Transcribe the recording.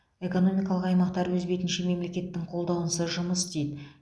экономикалық аймақтар өз бетінше мемлекеттің қолдауынсыз жұмыс істейді